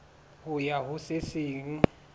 ho ya ho se seng